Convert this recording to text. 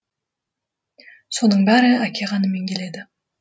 соның бәрі әке қанымен келеді